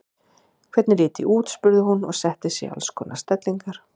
Hvernig lít ég út? spurði hún og setti sig í alls konar stellingar.